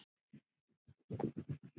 Gestir frá Noregi.